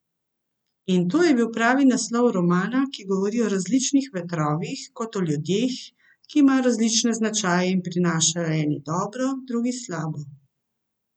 In to je bil pravi naslov romana, ki govori o različnih vetrovih kot o ljudeh, ki imajo različne značaje in prinašajo eni dobro, drugi slabo.